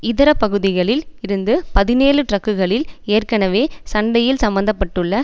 இதர பகுதிகளில் இருந்து பதினேழு டிரக்குகளில் ஏற்கெனவே சண்டையில் சம்மந்தப்பட்டுள்ள